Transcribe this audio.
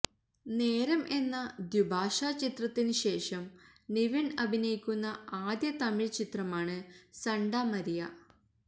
നേരം എന്ന ദ്വിഭാഷ ചിത്രത്തിന് ശേഷം നിവിന് അഭിനയിക്കുന്ന ആദ്യ തമിഴ് ചിത്രമാണ് സണ്ട മരിയ